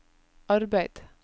arbeid